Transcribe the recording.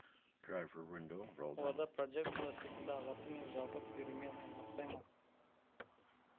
олар да прожекторлар секілді ағарту мен жабық берумен айналыспай ма